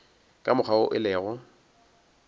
ka mokgwa wo e lego